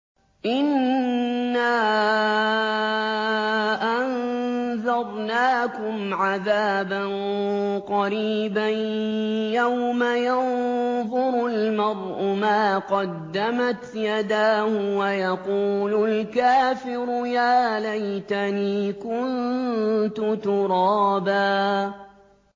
إِنَّا أَنذَرْنَاكُمْ عَذَابًا قَرِيبًا يَوْمَ يَنظُرُ الْمَرْءُ مَا قَدَّمَتْ يَدَاهُ وَيَقُولُ الْكَافِرُ يَا لَيْتَنِي كُنتُ تُرَابًا